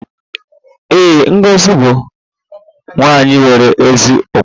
Ee, Ngozi bụ nwanyị nwere ezi ụkpụrụ